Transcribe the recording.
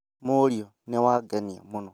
Mũriũ nĩ wangenia mũno